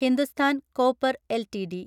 Hindustan copper LTD